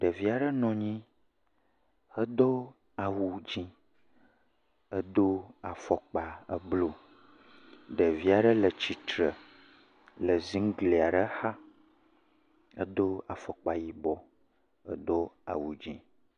Ɖevi aɖe nɔ anyi hedo awu dzɛ̃ hedo afɔkpa eblu, ɖevi aɖe le tsitre le zigli aɖe xa, edo afɔkpa yibɔ, edo awu dze.